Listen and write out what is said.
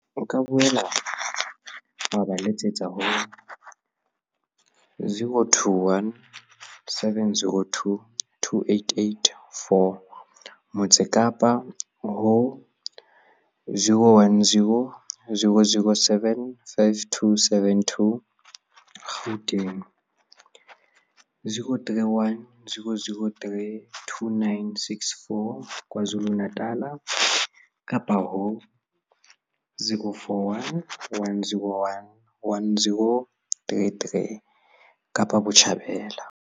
O ka boela wa ba letsetsa ho 021 702 2884, Motse Kapa, ho 010 007 5272, Gauteng, ho 031 003 2964, KwaZulu-Natala kapa ho 041 101 1033 Kapa Botjhabela.